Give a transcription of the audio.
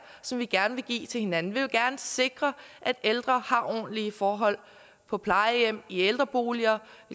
som vi gerne vil give til hinanden vi vil gerne sikre at ældre har ordentlige forhold på plejehjem i ældreboliger